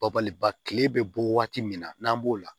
Babaliba kile bɛ bɔ waati min na n'an b'o la